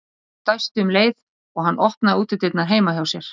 Örn dæsti um leið og hann opnaði útidyrnar heima hjá sér.